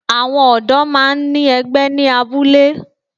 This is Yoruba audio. Àwọn ọ̀dó máa ń ní ẹgbẹ́ ní abúlé